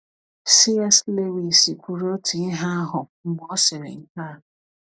C.S. Lewis kwuru otu ihe ahụ mgbe ọ sịrị nke a: